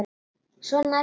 Svona ertu þá!